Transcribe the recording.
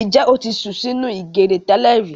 Ǹjẹ́ o sùn sí nínú ìgèrè tẹ́lẹ̀rí